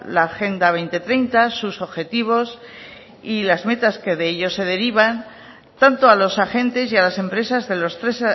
la agenda dos mil treinta sus objetivos y las metas que de ello se derivan tanto a los agentes y a las empresas de los tres